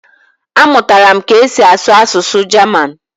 Amụtara m ka e si asụ asụsụ Jaman